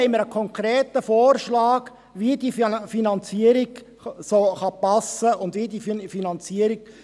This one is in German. Hier haben wir einen konkreten Vorschlag, wie die Finanzierung geschehen kann.